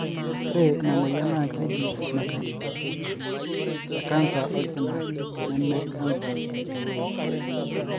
Ore ina moyian na keji metastatic ecanser olkina, neme cancer oloik.